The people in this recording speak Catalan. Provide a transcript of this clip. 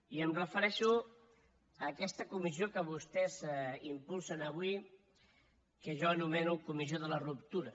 i em refereixo a aquesta comissió que vostès impulsen avui que jo anomeno comissió de la ruptura